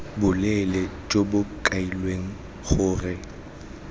boleele jo bo kailweng gore